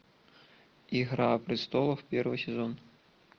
игра престолов первый сезон